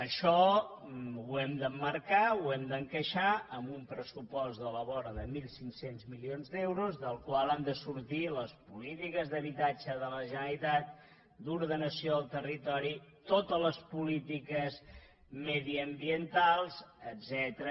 això ho hem d’emmarcar ho hem d’encaixar en un pressupost de la vora de mil cinc cents milions d’euros del qual han de sortir les polítiques d’habitatge de la generalitat d’ordenació del territori totes les polítiques mediambientals etcètera